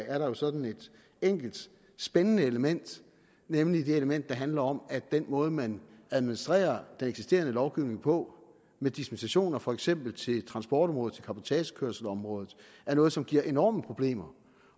at der er sådan et enkelt spændende element nemlig det element der handler om at den måde man administrerer den eksisterende lovgivning på med dispensationer til for eksempel transportområdet til cabotagekørselsområdet er noget som giver enorme problemer